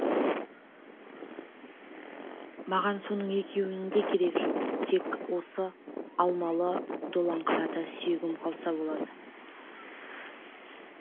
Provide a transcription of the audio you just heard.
маған соның екеуінің де керегі жоқ тек осы алмалы долаңқарада сүйегім қалса болады